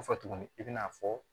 Fɔ tuguni i bi n'a fɔ